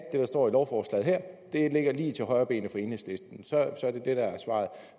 det der står i lovforslaget her ligger lige til højrebenet for enhedslisten så er det det der er svaret